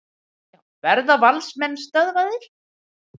Verða Valsmenn stöðvaðir?